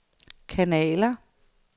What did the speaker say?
kanaler